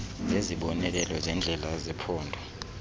zezibonelelo zendlela zephondo